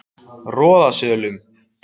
Roðasölum